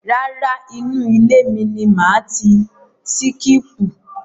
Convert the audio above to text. Rárá, inú ile ni màá ti síkípù.